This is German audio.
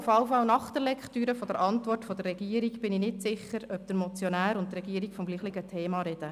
Nach der Lektüre der Antwort der Regierung bin ich jedenfalls nicht sicher, ob der Motionär und die Regierung vom selben Thema sprechen.